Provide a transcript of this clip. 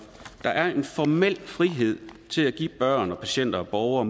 der er en formel frihed til at give børn patienter og borgere